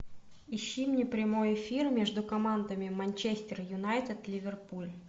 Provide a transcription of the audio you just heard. ищи мне прямой эфир между командами манчестер юнайтед ливерпуль